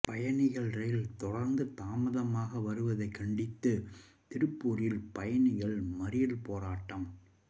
பயணிகள் ரயில் தொடர்ந்து தாமதமாக வருவதை கண்டித்து திருப்பூரில் பயணிகள் மறியல் போராட்டம்